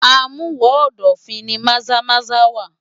Amuwo-odofin ni Maza-Maza wà.